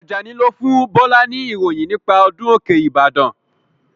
Ajani lo fún Bọlá ni ìròyìn nípa ọdún òkè ìbàdàn